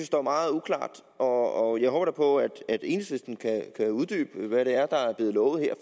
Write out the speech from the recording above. står meget uklart og jeg håber da på at enhedslisten kan uddybe hvad det er der er blevet lovet her